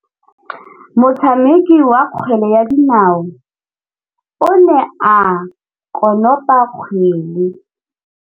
Motshameki wa kgwele ya dinaô o ne a konopa kgwele.